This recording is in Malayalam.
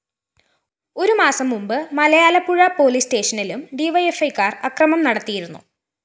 ഒരുമാസം മുമ്പ് മലയാലപ്പുഴ പോലീസ് സ്റ്റേഷനിലും ഡിവൈഎഫ്‌ഐക്കാര്‍ അക്രമം നടത്തിയിരുന്നു